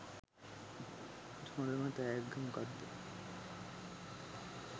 හොඳම තෑග්ග මොකක්ද?